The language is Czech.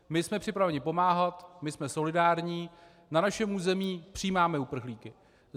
My jsme připraveni pomáhat, my jsme solidární, na našem území přijímáme uprchlíky.